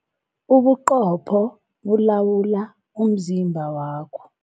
Ubuqopho bulawula umzimba wakho.